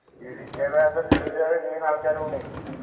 ഈ വിദ്യാഭ്യാസം ദുരുപയോഗം ചെയ്യുന്ന ആള്‍ക്കാരുമുണ്ട്